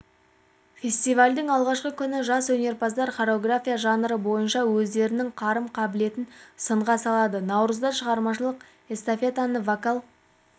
фестивальдің алғашқы күні жас өнерпаздар хореография жанры бойынша өздерінің қарым-қабілетін сынға салады наурызда шығармашылық эстафетаны вокал